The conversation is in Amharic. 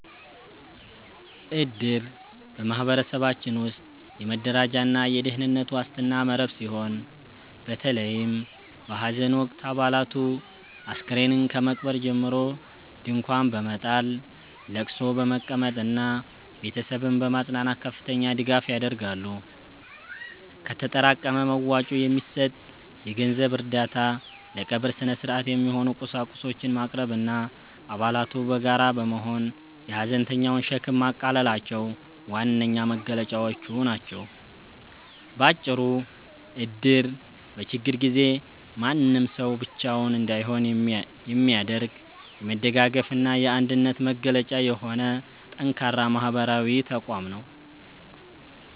እድር በማኅበረሰባችን ውስጥ የመረዳጃና የደኅንነት ዋስትና መረብ ሲሆን፤ በተለይም በሐዘን ወቅት አባላቱ አስከሬን ከመቅበር ጀምሮ ድንኳን በመጣል፣ ለቅሶ በመቀመጥና ቤተሰብን በማጽናናት ከፍተኛ ድጋፍ ያደርጋሉ። ከተጠራቀመ መዋጮ የሚሰጥ የገንዘብ እርዳታ፣ ለቀብር ሥነ-ሥርዓት የሚሆኑ ቁሳቁሶችን ማቅረብና አባላቱ በጋራ በመሆን የሐዘንተኛውን ሸክም ማቃለላቸው ዋነኛ መገለጫዎቹ ናቸው። ባጭሩ እድር በችግር ጊዜ ማንም ሰው ብቻውን እንዳይሆን የሚያደርግ፣ የመደጋገፍና የአንድነት መገለጫ የሆነ ጠንካራ ማኅበራዊ ተቋም ነው።